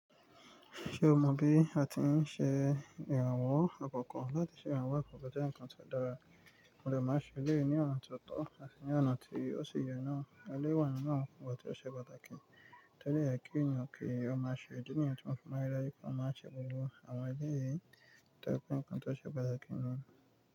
Ṣé o mọ bí a ti ń ṣe ìrànwọ́ àkọ́kọ́? Láti ṣe ìrànwọ́ àkọ́kọ́ jẹ́ nǹkan tó dára, mò de máa ń ṣe eléyìí ni ọ̀nà tó tọ́, àti ní ọ̀nà tí ó ṣi yẹ náà. Eléyìí wà nínú àwọn nǹkan tí ó ṣe pàtàkì, tó dẹ̀ yẹ kí ènìyàn kí ó máa ṣe, ìdí nìyẹn tó ń fọmá irá yípò máa ṣe gbogbo àwọn eléyìí tó jẹ́ pé nǹkan tó ṣe pàtàkì ni.